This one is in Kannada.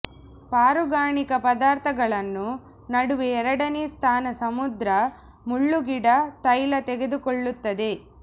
ಪಾರುಗಾಣಿಕಾ ಪದಾರ್ಥಗಳನ್ನು ನಡುವೆ ಎರಡನೇ ಸ್ಥಾನ ಸಮುದ್ರ ಮುಳ್ಳುಗಿಡ ತೈಲ ತೆಗೆದುಕೊಳ್ಳುತ್ತದೆ